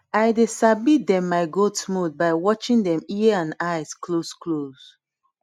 i dey sabi dem my goat mood by watching dem ear and eye close close